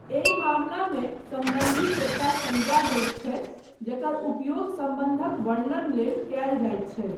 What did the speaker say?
एहि मामलामे सम्बन्धी एकटा संज्ञा होयत छै जकर उपयोग सम्बन्धक वर्णन लेल कयल जायत छै।